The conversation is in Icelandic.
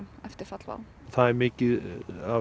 eftir fall WOW það er mikið að